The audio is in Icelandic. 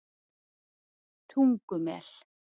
Tungumel